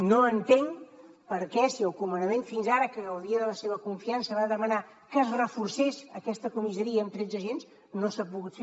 no entenc per què si el comandament que fins ara gaudia de la seva confiança va demanar que es reforcés aquesta comissaria amb tretze agents no s’ha pogut fer